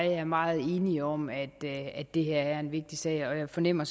jeg er meget enige om at det at det her er en vigtig sag og jeg fornemmer